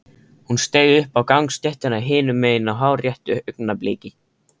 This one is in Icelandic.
Hún steig upp á gangstéttina hinum megin á hárréttu augnabliki.